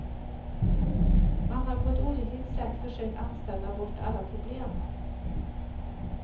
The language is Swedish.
Man har på ett olyckligt sätt försökt anställa bort alla problem.